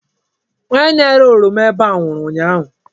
Onye na-ere oroma ebe a nwụrụ ụnyaahụ.